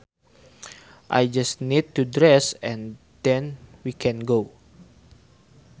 I just need to dress and then we can go